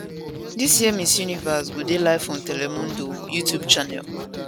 dis year miss universe go go dey live on telemundo youtube channel